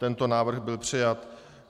Tento návrh byl přijat.